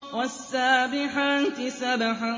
وَالسَّابِحَاتِ سَبْحًا